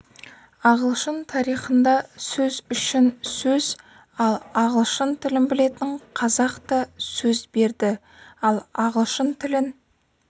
ағылшын тарихыннда сөз үшін сөз ал ағылшын тілін білетін қазақ та сөз берді ал ағылшын тілін